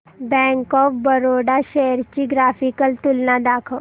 bank of Baroda shares ची graphical तुलना दाखव